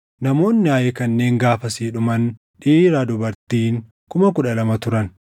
Namoonni Aayi kanneen gaafasi dhuman dhiiraa dubartiin kuma kudha lama turan.